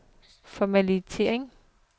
formattering